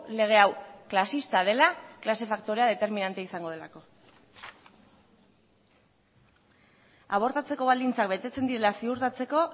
lege hau klasista dela klase faktorea determinantea izango delako abortatzeko baldintzak betetzen direla ziurtatzeko